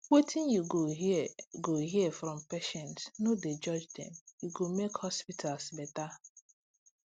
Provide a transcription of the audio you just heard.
wetin you go hear go hear from patients no dey judge dem e go make hospitals better